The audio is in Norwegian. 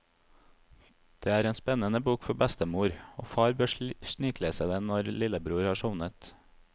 Det er en spennende bok for bestemor, og far bør sniklese den når lillebror har sovnet.